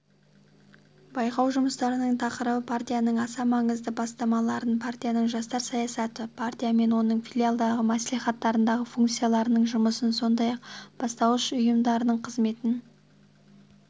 байқау жұмыстарының тақырыбы партияның аса маңызды бастамаларын партияның жастар саясатын партия мен оның филиалдары маслихаттардағы фракцияларының жұмысын сондай-ақ бастауыш ұйымдарының қызметін